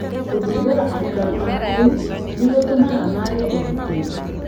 Gũthumbũra aikari a kũu nĩ gũtũmaga maage ũgitĩri